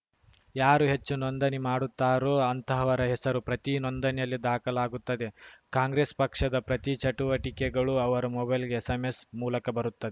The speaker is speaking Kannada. ಯಾರು ಹೆಚ್ಚು ನೋಂದಣಿ ಮಾಡುತ್ತಾರೋ ಅಂತಹವರ ಹೆಸರು ಪ್ರತಿ ನೋಂದಣಿಯಲ್ಲಿ ದಾಖಲಾಗುತ್ತದೆ ಕಾಂಗ್ರೆಸ್‌ ಪಕ್ಷದ ಪ್ರತಿ ಚಟುವಟಿಕೆಗಳು ಅವರ ಮೊಬೈಲಿಗೆ ಎಸ್‌ಎಂಎಸ್‌ ಮೂಲಕ ಬರುತ್ತ